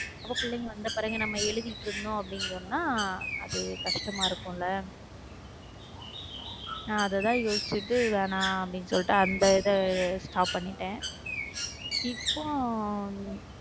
அப்போ பிள்ளைங்க வந்த பிறகு நம்ம எழுதிகிட்டு இருந்தோம் அப்படின்னு சொன்னா அது கஷ்டமா இருக்கும்ல நான் அதைதான் யோசிச்சிட்டு வேணாம் அப்படின்னு சொல்லிட்டு அந்த இது stop பண்ணிட்டேன் இப்போ உம்